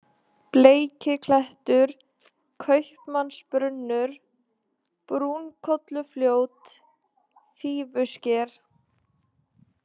Bleikiklettur, Kaupmannsbrunnur, Brúnkollufljót, Fífusker